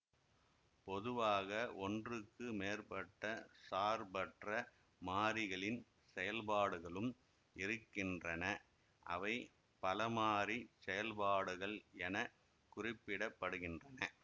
பொதுவாக ஒன்றுக்கு மேற்பட்ட சார்பற்ற மாறிகளின் செயல்பாடுகளும் இருக்கின்றன அவை பலமாறிச் செயல்பாடுகள் என குறிப்பிட படுகின்றன